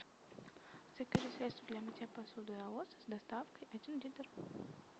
закажи средство для мытья посуды аос с доставкой один литр